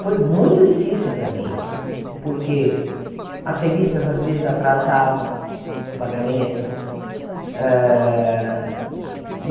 Foi muito difícil para mim, porque as revistas, às vezes, atrasavam o pagamento. Hã